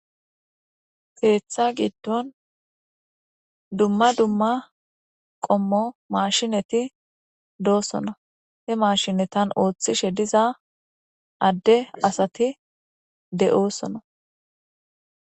ketha giddon dumma dumma qommo maashineti doossona he maashinetan ooththishe diza adde asati de7oosona